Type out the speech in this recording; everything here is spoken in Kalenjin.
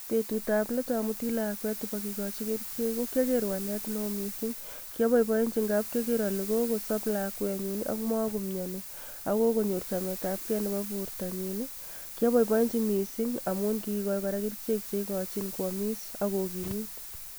Betutab let amuti lakwet iba kikochi kerichek, ko kiager walet neo mising. Kiabaiboenji ngab kiager alekosop lakwenyun ago magomiani ak kokonyor chametabke nebo bortonyin ii. Kiaboiboenji mising amun kigigochi kora kerichek che igochin koamis ak kogimit